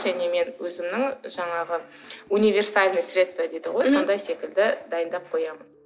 және мен өзімнің жаңағы универсальное средство дейді ғой мхм сондай средство секілді дайындап қоямын